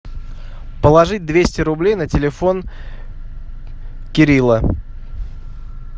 положить двести рублей на телефон кирилла